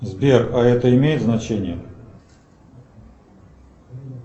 сбер а это имеет значение